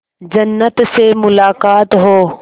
जन्नत से मुलाकात हो